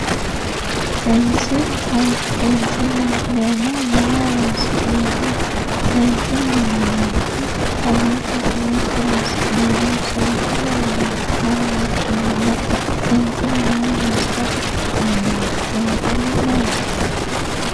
seensillu maati seensilleho yineemmohu maaho horoonsi'neemmoho seensilleho yineemmohu mamoote mamoote horoonsi'neemmoho seensilleho yineemmohu mama wodhineemmoho seensillu maa horoonsirate kaa'lannonke seensillu maati